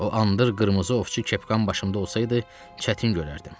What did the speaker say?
O an dur qırmızı ovçu kepkam başımda olsaydı, çətin görərdim.